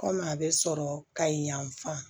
Kɔmi a bɛ sɔrɔ ka yen yan fan